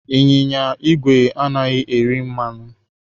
Ịnyịnya igwe anaghị eri mmanụ.